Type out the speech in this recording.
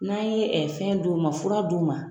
N'a ye fɛn d'u ma fura d'u ma